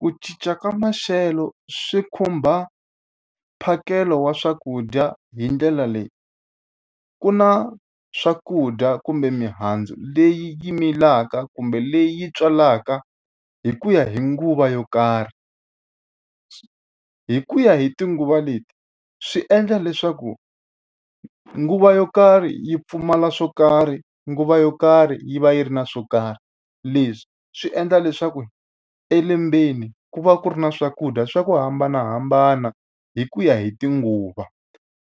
Ku cinca ka maxelo swi khumba mphakelo wa swakudya hi ndlela leyi. Ku na swakudya kumbe mihandzu leyi yi milaka kumbe leyi tswalaka hi ku ya hi nguva yo karhi. Hi ku ya hi tinguva leti swi endla leswaku nguva yo karhi yi pfumala swo karhi, nguva yo karhi yi va yi ri na swo karhi. Leswi swi endla leswaku elembeni ku va ku ri na swakudya swa ku hambanahambana hi ku ya hi tinguva.